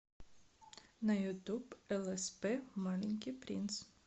на ютуб элэспэ маленький принц